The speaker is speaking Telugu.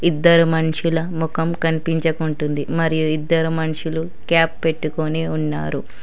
ఇద్దరు మనుషుల ముఖం కనిపించకుంటుంది మరియు ఇద్దరు మనుషులు క్యాప్ పెట్టుకొని ఉన్నారు.